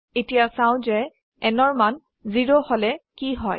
এতিয়া চাও যে nৰ মান 0 হলে কি হয়